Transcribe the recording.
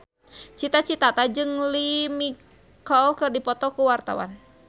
Cita Citata jeung Lea Michele keur dipoto ku wartawan